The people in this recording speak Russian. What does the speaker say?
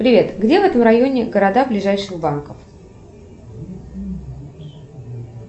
привет где в этом районе города ближайших банков